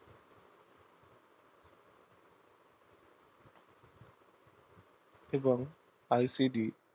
এবং ICD